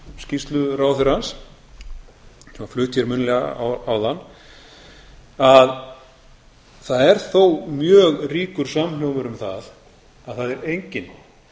skýrslu ráðherrans sem hann flutti munnlega áðan að það er þó mjög ríkur samhljómur um það að það er enginn